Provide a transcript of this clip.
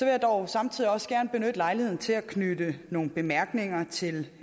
jeg dog samtidig også gerne benytte lejligheden til at knytte nogle bemærkninger til